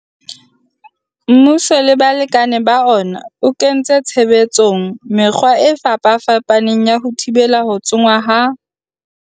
Mmuso le balekane ba ona, o kentse tshebetsong mekgwa e fapafapaneng ya ho thibela ho tsongwa ho seng molaong ha ditshukudu, ho akga le mananeo a ho disa dirapa tsa naha tsa diphoofolo le ho sebedisa thekenoloji e ka fetolang mawa.